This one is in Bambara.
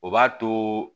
O b'a to